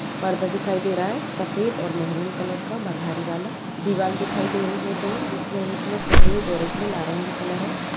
पर्दा दिखाई दे रहा हैं सफेद और महरूँ कलर का बधारी वाला। दीवाल दिखाई दे रही है दो जिसमे एक मे सफेद और एक मे नारंगी कलर हे।